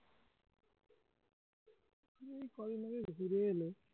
এই ঘুরে এলে